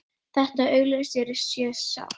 Karlinn þarf að geta átt mök við kvendýrið.